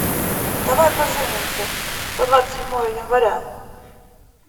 давай поженимся за двадцать седьмое января